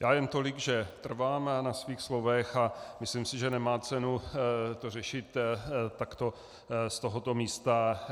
Já jen tolik, že trvám na svých slovech, a myslím si, že nemá cenu to řešit takto z tohoto místa.